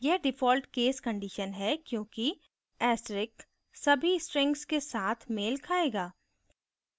यह default case condition है क्योंकि asterisk सभी strings के साथ मेल खायेगा